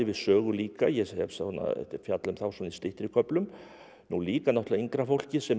sögu líka ég fjalla um þá svona í styttri köflum líka náttúrulega yngra fólkið sem